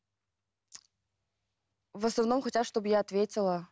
в основном хотят чтобы я ответила